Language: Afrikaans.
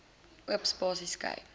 oop spasies skei